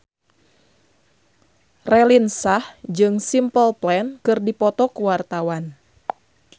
Raline Shah jeung Simple Plan keur dipoto ku wartawan